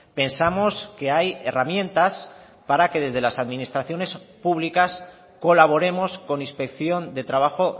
pensamos que hay herramientas para que desde las administraciones públicas colaboremos con inspección de trabajo